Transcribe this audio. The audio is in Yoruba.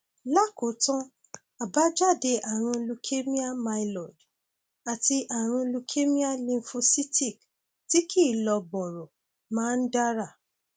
lákòótán àbájáde ààrùn leukemia myeloid àti ààrùn leukemia lymphocytic tí kìí lọ bọrọ máa ń dára